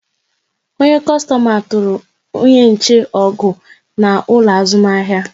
Onye kostoma tụrụ onye nche ọgụ n'ụlọ azụmahịa